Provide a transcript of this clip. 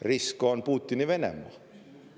Risk on Putini Venemaa.